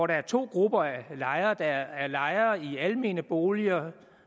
der er to grupper af lejere der er lejere i almene boliger